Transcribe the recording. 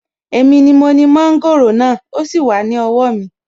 Èmi ni mo ni mọ́ńgòrò náà, ó sì wà ní owó mi